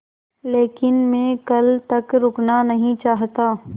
लेकिन मैं कल तक रुकना नहीं चाहता